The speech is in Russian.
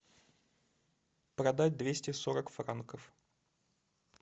продать двести сорок франков